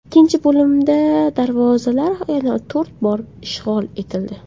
Ikkinchi bo‘limda darvozalar yana to‘rt bor ishg‘ol etildi.